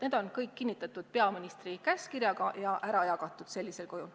Need on kõik kinnitatud peaministri käskkirjaga ja ära jagatud sellisel kujul.